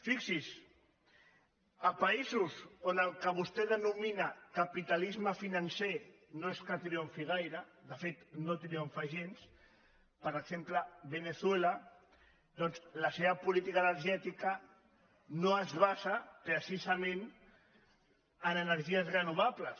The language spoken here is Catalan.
fixi’s a països on el que vostè de·nomina capitalisme financer no és que triomfi gai·re de fet no triomfa gens per exemple veneçuela doncs la seva política energètica no es basa precisa·ment en energies renovables